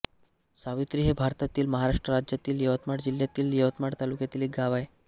सावित्री हे भारतातील महाराष्ट्र राज्यातील यवतमाळ जिल्ह्यातील यवतमाळ तालुक्यातील एक गाव आहे